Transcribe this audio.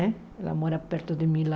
Né ela mora perto de mim lá.